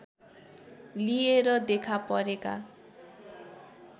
लिएर देखा परेका